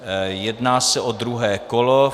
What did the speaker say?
Jedná se o druhé kolo.